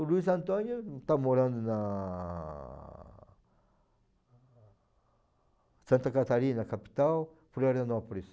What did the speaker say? O Luiz Antônio está morando na Santa Catarina, capital, Florianópolis.